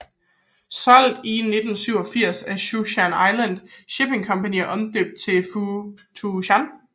Solgt i 1987 til Zhuo Shan Island Shipping Company og omdøbt til Pu Tou Shan